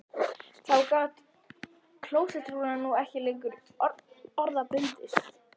Þá gat klósettrúllan nú ekki lengur orða bundist